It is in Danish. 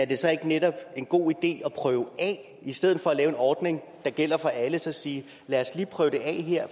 det så ikke netop en god idé at prøve af i stedet for at lave en ordning der gælder for alle så sige lad os lige prøve det af her